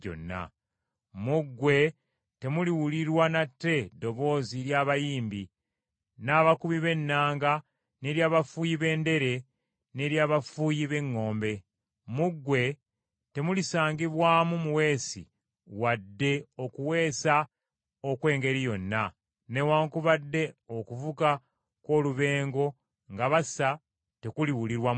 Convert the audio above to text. Mu ggwe temuliwulirwa nate ddoboozi lya bayimbi, n’abakubi b’ennanga n’ery’abafuuyi b’endere, n’ery’abafuuyi b’eŋŋombe. Mu ggwe temulisangibwamu muweesi wadde okuweesa okw’engeri yonna, newaakubadde okuvuga kw’olubengo nga basa tekuliwulirwa mu ggwe.